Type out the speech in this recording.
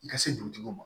I ka se dugutigiw ma